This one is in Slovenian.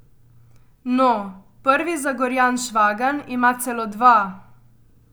No, prvi Zagorjan Švagan ima celo dva.